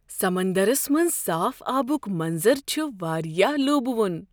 سمندرس منٛز صاف آبک منظر چھ واریاہ لُوبہ وُن ۔